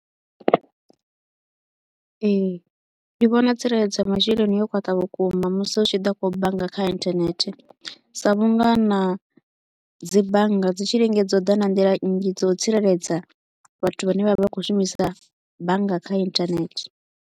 Ee, ndi vhona tsireledzo ya masheleni yo khwaṱha vhukuma musi hu tshi ḓa kha u bannga kha internet sa vhunga na dzi bannga dzi tshi lingedza u ḓa na nḓila nnzhi dza u tsireledza vhathu vha ne vha vha vha kho u shumisa bannga kha internet.